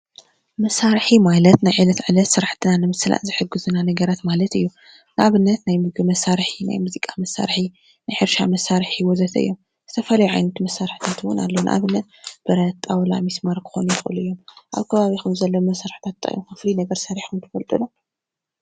መሳርሒ ማለት ናይ ዕለታዊ ስራሕትና ንምስላጥ ዝሕግዙና ነገራት ማለት እዮም ንኣብነት ናይ ምግቢ መሳርሒ፣ ናይ ሙዚቃ መሳርሒ ፣ናይ ሕርሻ መሳርሒ ወዘት እዮም ዝተፈላለዩ ዓይነት መሳርሒ እዉን ኣለዉ ንኣብነት ብረት ጣዉላ ምስማር ክኮኑ ይክእሉ እዮም ኣብ ከባቢኩም ዘለዉ መሳርሕታት ታይ እዮም ፍሉይ ነገር ሰሪሕኩም ትፈልጡ ዶ ?